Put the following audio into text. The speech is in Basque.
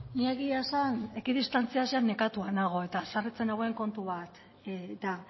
ni egia esan ekidistantziaz nekatua nago eta haserretzen nauen kontu bat da